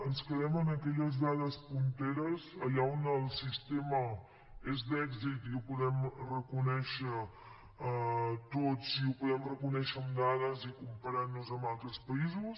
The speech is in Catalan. ens quedem amb aquelles dades punteres allà on el sistema és d’èxit i ho podem reconèixer tots i ho podem reconèixer amb dades i comparant nos amb altres països